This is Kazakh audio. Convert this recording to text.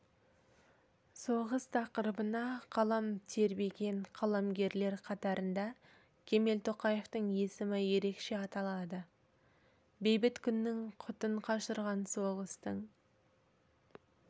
соғыс тақырыбына қалам тербеген қаламгерлер қатарында кемел тоқаевтың есімі ерекше аталады бейбіт күннің құтын қашырған соғыстың